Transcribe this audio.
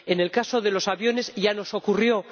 En el caso de los aviones ya nos ocurrió.